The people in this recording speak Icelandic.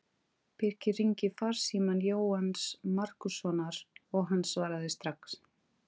Birkir hringdi í farsíma Jóhanns Markússonar og hann svaraði strax.